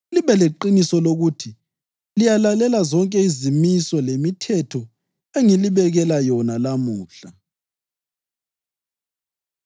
libe leqiniso lokuthi liyalalela zonke izimiso lemithetho engilibekela yona lamuhla.”